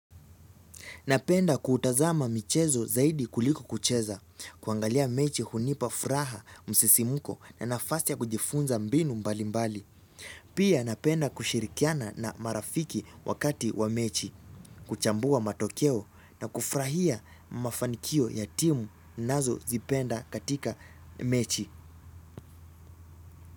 Napenda kutazama michezo zaidi kuliko kucheza, kuangalia mechi hunipa furaha, msisimuko na nafasi kujifunza mbinu mbali mbali. Pia napenda kushirikiana na marafiki wakati wa mechi, kuchambua matokeo na kufurahia mafanikio ya timu, nazo zipenda katika mechi.